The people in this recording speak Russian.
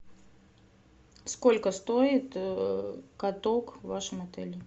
сколько стоит каток в вашем отеле